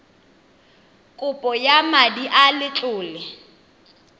kopo ya madi a letlole